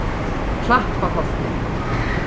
Klapparholti